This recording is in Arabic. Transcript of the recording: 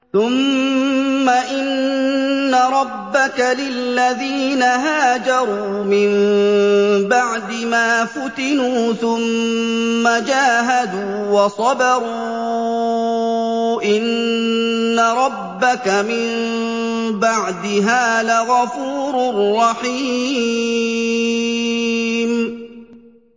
ثُمَّ إِنَّ رَبَّكَ لِلَّذِينَ هَاجَرُوا مِن بَعْدِ مَا فُتِنُوا ثُمَّ جَاهَدُوا وَصَبَرُوا إِنَّ رَبَّكَ مِن بَعْدِهَا لَغَفُورٌ رَّحِيمٌ